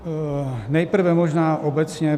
Nejprve možná obecně.